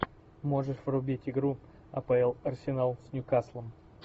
можешь врубить игру апл арсенал с ньюкаслом